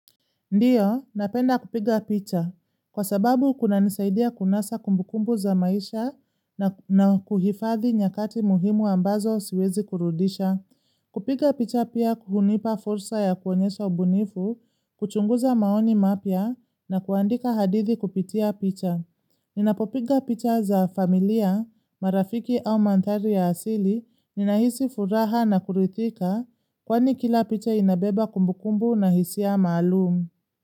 Ndiyo, napenda kupiga picha. Kwa sababu kunanisaidia kunasa kumbukumbu za maisha na kuhifadhi nyakati muhimu ambazo siwezi kurudisha. Kupiga picha pia hunipa fursa ya kuonyesha ubunifu, kuchunguza maoni mapya na kuandika hadithi kupitia picha. Ninapopiga picha za familia, marafiki au mandhari ya asili, ninahisi furaha na kuridhika, kwani kila picha inabeba kumbukumbu na hisia maalumu.